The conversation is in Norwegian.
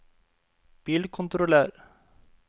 bilkontroller